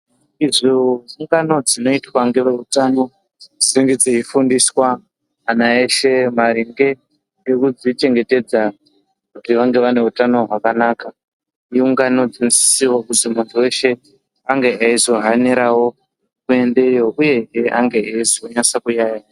Idzo ungano dzinonga dziitwa ngeve utano idzo dzinenge dzeifundiswa ana eshe maringe ngekuzvichengetedza kuti vange vane utano hwakanaka. Iungano dzinosisirwa kuzi muntu veshe ange aizohaniravo kuendeyo, uyezve ange eizonyase kuyaiya.